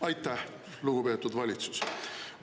Aitäh, lugupeetud valitsus!